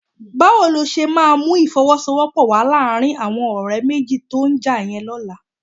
Báwo ló ṣe máa mú ìfọwọ́sowọ́pọ̀ wà láàrin àwọn ọ̀rẹ́ méjì tó já yẹn lọ́la?